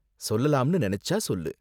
சொல்லலாம்னு நெனச்சா சொல்லு.